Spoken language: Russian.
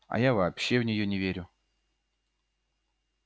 а я вообще в неё не верю